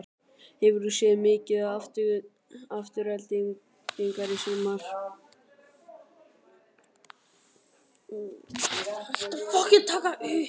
Hefur þú séð mikið til Aftureldingar í sumar?